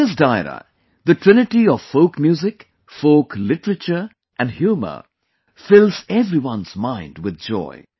In this Dairo, the trinity of folk music, folk literature and humour fills everyone's mind with joy